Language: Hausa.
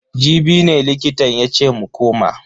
Jibi ne likitan yace mu koma.